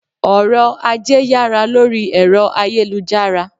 Ọ̀RỌ̀-ajé yára lórí ẹ̀rọ ayélujára.